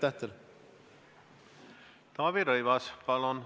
Taavi Rõivas, palun!